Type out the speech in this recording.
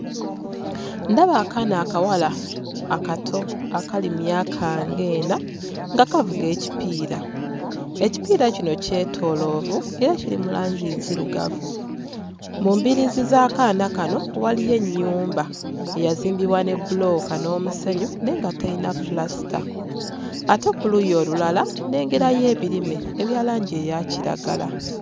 Ndaba akaana akawala akato akali mu myaka ng'ena nga kavuga ekipiira. Ekipiira kino kyetooloovu era kiri mu langi nzirugavu. Mu mbiriizi z'akaana kano waliyo ennyumba eyazimbibwa ne bbulooka n'omusenyu naye nga terina ppulasita ate ku luuyi olulala nnengerayo ebirime ebya langi eya kiragala.